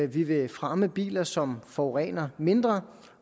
vi vil fremme biler som forurener mindre